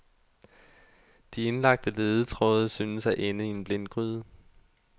De indlagte ledetråde synes at ende i en blindgyde.